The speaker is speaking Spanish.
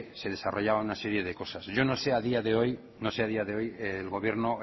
se desarrollaban una serie de cosas yo no sé a día de hoy el gobierno